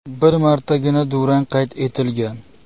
Bir martagina durang qayd etilgan.